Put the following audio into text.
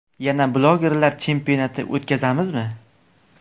Yana blogerlar chempionati o‘tkazamizmi?